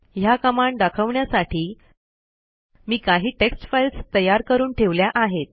ह्या कमांड दाखवण्यासाठी मी काही टेक्स्ट फाईल्स तयार करून ठेवल्या आहेत